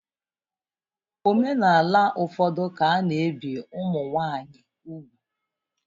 Omenala ụfọdụ ka na-ebi ụmụ nwanyị ugwu.